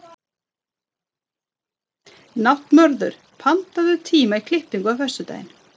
Náttmörður, pantaðu tíma í klippingu á föstudaginn.